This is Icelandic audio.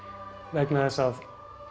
vegna þess að